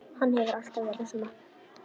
Hann hefur alltaf verið svona.